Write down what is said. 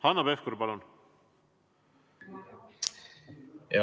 Hanno Pevkur, palun!